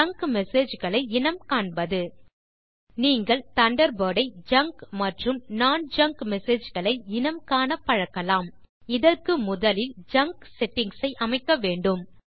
junk Messageகளை இனம் காண்பது நீங்கள் தண்டர்பர்ட் ஐ ஜங்க் மற்றும் நோன் ஜங்க் மெசேஜ் களை இனம் காண பழக்கலாம் இதற்கு முதலில் ஜங்க் செட்டிங்ஸ் ஐ அமைக்க வேண்டும்